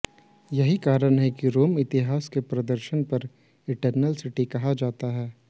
यही कारण है कि रोम इतिहास और दर्शन पर इटरनल सिटी कहा जाता है